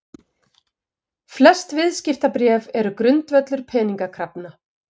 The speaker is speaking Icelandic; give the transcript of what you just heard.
Flest viðskiptabréf eru grundvöllur peningakrafna.